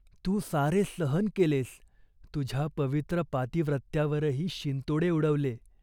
तू सारे सहन केलेस. तुझ्या पवित्र पातिव्रत्यावरही शिंतोडे उडवले.